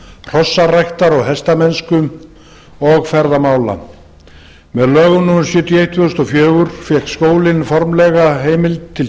hrossaræktar og hestamennsku og ferðamála með lögum númer sjötíu og eitt tvö þúsund og fjögur fékk skólinn formlega heimild til